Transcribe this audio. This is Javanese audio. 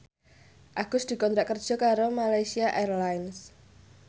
Agus dikontrak kerja karo Malaysia Airlines